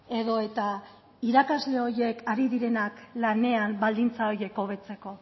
edo eta irakasle horiek ari direnak lanean baldintza horiek hobetzeko